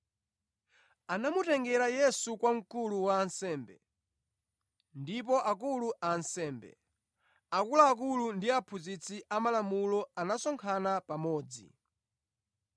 Anamutengera Yesu kwa mkulu wa ansembe, ndipo akulu a ansembe, akuluakulu ndi aphunzitsi amalamulo anasonkhana pamodzi.